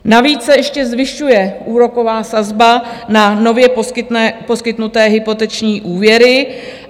Navíc se ještě zvyšuje úroková sazba na nově poskytnuté hypoteční úvěry.